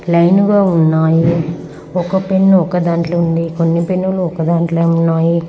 Line గా ఉన్నాయి. ఒక పెన్ ఉ ఒకదాంట్లో ఉంది. కొన్ని పెన్ లు ఒకదాంట్లోనే ఉన్నాయి.